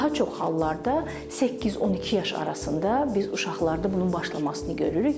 Daha çox hallarda 8-12 yaş arasında biz uşaqlarda bunun başlamasını görürük.